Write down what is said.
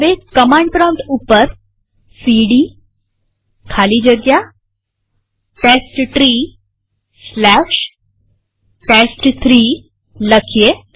હવે command prompt ઉપર CD ખાલી જગ્યા testtreeટેસ્ટ3 લખીએ